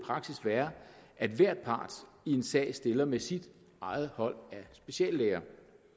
praksis være at hver part i en sag stiller med sit eget hold af speciallæger